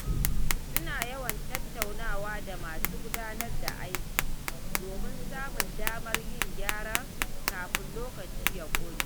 Ina yawan tattaunawa da masu gudanar da aiki domin samun damar yin gyara kafin lokaci ya ƙure.